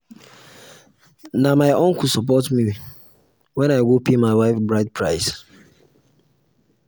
na my uncle support me wen i go pay pay my wife bride price.